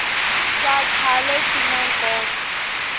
swa khale swina nkoka